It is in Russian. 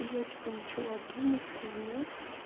и я типа начала думать вспоминать